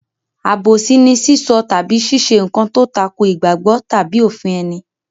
Àbòsí ni sísọ tàbí ṣíṣe nǹkan tó tako ìgbàgbọ́ tàbí òfin ẹni.